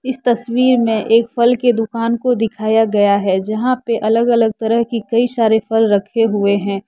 इस तस्वीर में एक फल की दुकान को दिखाया गया है जहां पे अलग अलग तरह की कई सारे फल रखे हुए हैं।